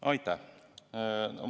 Aitäh!